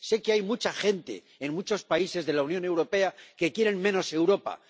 Sé que hay mucha gente, en muchos países de la Unión Europea, que quiere menos Europa.